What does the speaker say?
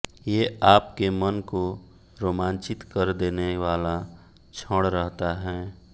ये आपके मन को रोमांचित कर देने वाला क्षण रहता हैं